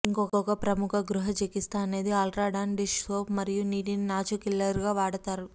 ఇంకొక ప్రముఖ గృహ చికిత్స అనేది అల్ట్రా డాన్ డిష్ సోప్ మరియు నీటిని నాచు కిల్లర్గా వాడతారు